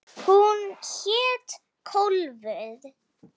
Hún hét Kólfur.